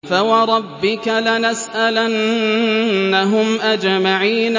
فَوَرَبِّكَ لَنَسْأَلَنَّهُمْ أَجْمَعِينَ